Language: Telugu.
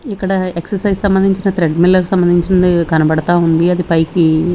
ఇక్కడ ఎక్సర్సైజ్ సంబంధించిన త్రెడ్ మిల్లర్ సంబంధించినది కనబడతా ఉంది అది పైకి.